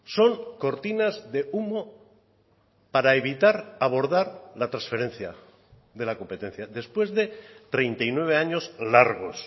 son cortinas de humo para evitar abordar la transferencia de la competencia después de treinta y nueve años largos